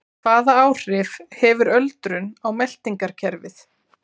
Hvaða áhrif hefur öldrun á meltingarkerfið?